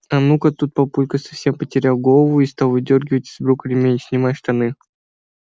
а ну тут папулька совсем потерял голову и стал выдёргивать из брюк ремень снимай штаны